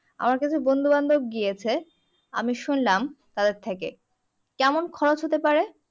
আমার কিছু বন্ধু বান্ধব গিয়েছে আমি শুনলাম তাদের থেকে কেমন খরচ হতে পারে